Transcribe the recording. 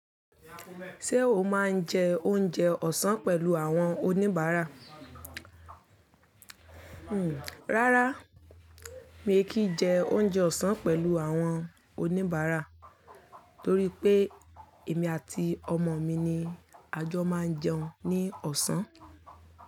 Ṣé o máa ń jẹ oúnjẹ ọ̀sán pẹ̀lú àwọn oníbàárà? Hmm, rárá mi ò kí jẹ oúnjẹ ọ̀sán pẹ̀lú àwọn oníbàárà torí pé èmi àti ọmọ mi ni a jọ máa ń jẹun ní ọ̀sán.